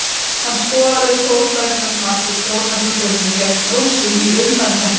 Hann skoraði stórglæsilegt mark úr hjólhestaspyrnu gegn Rússum í undankeppninni.